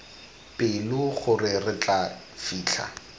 pelo gore re tla fitlha